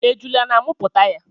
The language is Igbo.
Ejula na amụpụta ya.